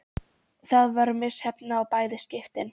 Það var misheppnað í bæði skiptin.